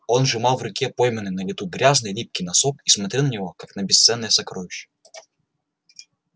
он сжимал в руке пойманный на лету грязный липкий носок и смотрел на него как на бесценное сокровище